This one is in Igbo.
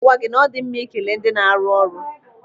Ana m agwa gị na ọdi mma ikele ndị na-arụ ọrụ.